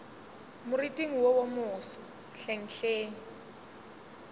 moriting wo wo moso hlenghleng